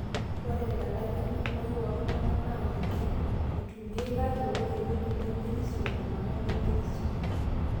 ore elalai enkumoi ooltung'anak naa ninye eitumiai kake ore ewueji nemerisio iltung'anak nemerisio